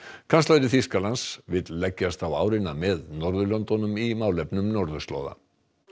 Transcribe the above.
kanslari Þýskalands vill leggjast á árina með Norðurlöndunum í málefnum norðurslóða